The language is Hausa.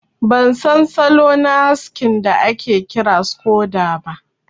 Ban san salo na haskin da ake kira scodo ba.